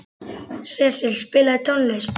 Sesil, spilaðu tónlist.